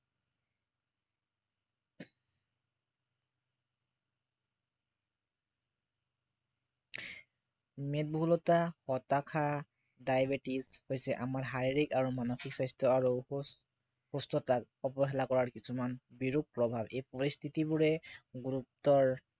মেদবহুলতা হতাশা diabetes হৈছে আমাৰ শাৰীৰিক আৰু মানসিক স্বাস্থ্য় আৰু সুস্থতাক অৱহেলা কৰাৰ কিছুমান বিৰূপ প্ৰভাৱ এই পৰিস্থিতিবোৰে গুৰুতৰ